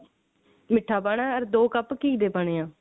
ਮਿੱਠਾ ਪਾਣਾ ਅਰ ਦੋ ਕੱਪ ਘੀ ਦੇ ਪਾਨੇ ਐ